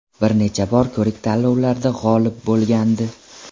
Bir necha bor ko‘rik tanlovlarda g‘olib bo‘lgandi.